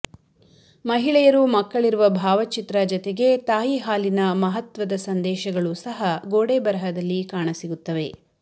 ಮಹಿಳೆಯರು ಮಕ್ಕಳಿರುವ ಭಾವಚಿತ್ರ ಜತೆಗೆ ತಾಯಿ ಹಾಲಿನ ಮಹತ್ವದ ಸಂದೇಶಗಳು ಸಹ ಗೋಡೆ ಬರಹದಲ್ಲಿ ಕಾಣ ಸಿಗುತ್ತವೆ